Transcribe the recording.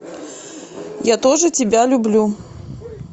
я тоже тебя люблю